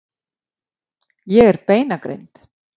Ég er beinagrind.